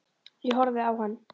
Ég horfði á hann.